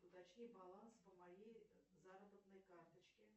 уточни баланс по моей заработной карточке